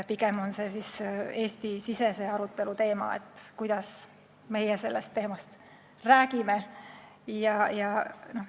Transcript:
Pigem on see, kuidas me sellest räägime, Eesti-sisese arutelu teema.